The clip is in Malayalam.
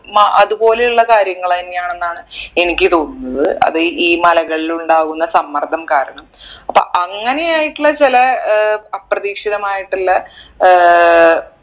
മ അതുപോലെയുള്ള കാര്യങ്ങളെന്നെയാണെന്നാണ് എനിക്ക് തോന്നുന്നത് അത് ഈ മലകളിൽ ഉണ്ടാകുന്ന സമ്മർദ്ദം കാരണം അപ്പൊ അങ്ങനെ ആയിട്ടുള്ള ചെലെ ഏർ അപ്രതീക്ഷിതമായിട്ടുള്ള ഏർ